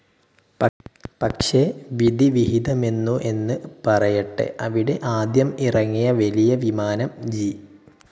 പക്ഷെ വിധിവിഹിതമെന്നു എന്ന് പറയട്ടെ അവിടെ ആദ്യം ഇറങ്ങിയ വലിയ വിമാനം ജി.